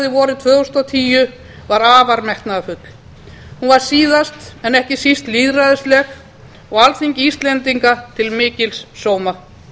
vorið tvö þúsund og tíu var afar metnaðarfull hún var síðast en ekki síst lýðræðisleg og alþingi íslendinga til mikils sóma